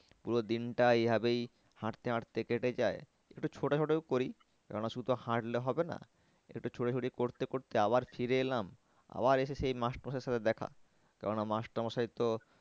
পুরো দিনটা এই ভাবেই হাঁটতে হাঁটতেই কেটে যায়। একটু ছোটাছুটিও করি কেন না শুধু তো হাঁটলে হবে না। একটু ছোটাছুটি করতে করতে আবার ফিরে এলাম আবার এসে সেই master মশাই এর সাথে দেখা। কেন না master মশাই তো